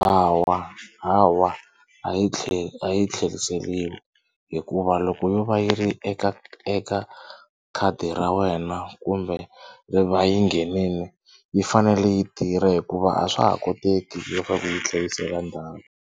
Hawa hawa a yi a yi tlheriseliwi hikuva loko yo va yi ri eka eka khadi ra wena kumbe yi va yi nghenini yi fanele yi tirha hikuva a swa ha koteki leswaku hi yi tlherisela ndzhaku.